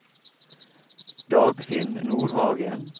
Dagfinn Nordhagen